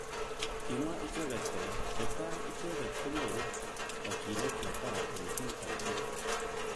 Kimwa icheket kole chetai icheket konyoru takyinet netai eng ki age tugul.